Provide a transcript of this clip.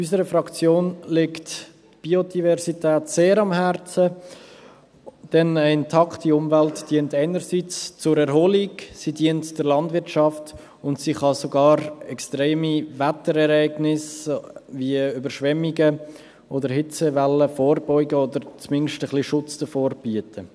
Unserer Fraktion liegt die Biodiversität sehr am Herzen, denn eine intakte Umwelt dient einerseits zur Erholung, sie dient der Landwirtschaft und sie kann sogar extreme Wetterereignisse wie Überschwemmungen oder Hitzewellen vorbeugen oder zumindest ein wenig Schutz davor bieten.